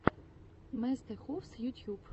мистэхувс ютьюб